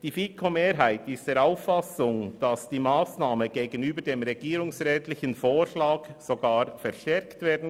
Die FiKo-Mehrheit ist der Auffassung, die Massnahme könne gegenüber dem regierungsrätlichen Vorschlag sogar verstärkt werden.